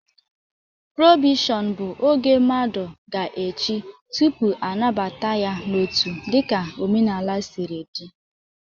Probeshọn bụ oge mmadụ ga-eche tụpụ anabata ya n'otu dịka omenala siri dị